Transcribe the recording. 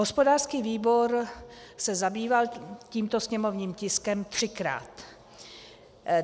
Hospodářský výbor se zabýval tímto sněmovním tiskem třikrát.